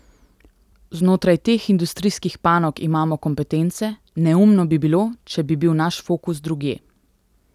Znotraj teh industrijskih panog imamo kompetence, neumno bi bilo, če bi bil naš fokus drugje.